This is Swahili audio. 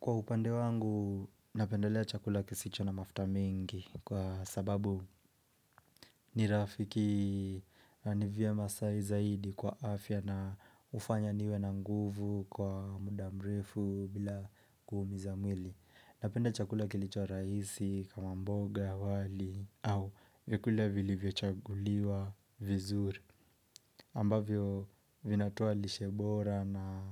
Kwa upande wangu, napendelea chakula kisicho na mafuta mingi kwa sababu ni rafiki ni vyema zaidi kwa afya na hufanya niwe na nguvu kwa muda mrefu bila kuumiza mwili. Napende chakula kilicho rahisi kama mboga wali au vyakula vilivyochaguliwa vizuri ambavyo vinatoa lishe bora na